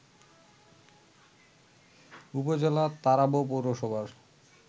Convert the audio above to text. উপজেলার তারাব পৌরসভার